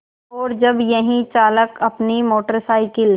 और जब यही चालक अपनी मोटर साइकिल